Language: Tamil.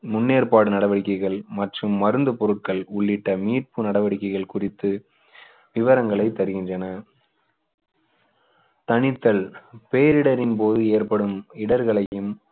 முன்னேற்பாடு நடவடிக்கைகள் மற்றும் மருந்து பொருட்கள் உள்ளிட்ட மீட்பு நடவடிக்கைகள் குறித்து விவரங்களை தருகின்றன தணித்தல் பேரிடரின் போது ஏற்படும் இடர்களையும்